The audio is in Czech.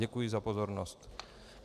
Děkuji za pozornost.